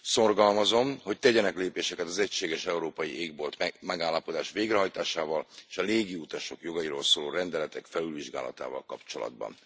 Szorgalmazom, hogy tegyenek lépéseket az Egységes Európai Égbolt megállapodás végrehajtásával és a légi utasok jogairól szóló rendeletek felülvizsgálatával kapcsolatban.